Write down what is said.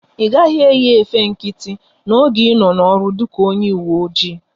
Ị gaghị eyi efe nkịtị n'oge ị nọ n'ọrụ dịka onye uwe oji!